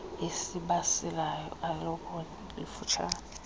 esibalisayo asiloobali lifutshane